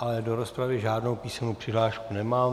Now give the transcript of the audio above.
Ale do rozpravy žádnou písemnou přihlášku nemám.